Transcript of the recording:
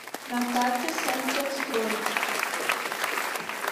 на карте сантехстрой